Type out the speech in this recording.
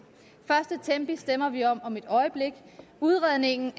stemmer vi om om et øjeblik udredningen